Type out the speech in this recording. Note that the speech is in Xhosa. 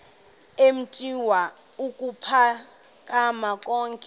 eemitha ukuphakama yonke